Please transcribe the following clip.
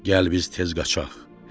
Gəl biz tez qaçaq.